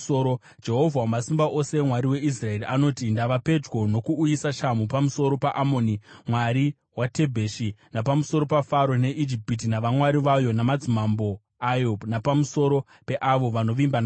Jehovha Wamasimba Ose, Mwari weIsraeri, anoti, “Ndava pedyo nokuuyisa shamhu pamusoro paAmoni mwari weTebhesi, napamusoro paFaro, neIjipiti navamwari vayo namadzimambo ayo, napamusoro peavo vanovimba naFaro.